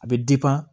A bɛ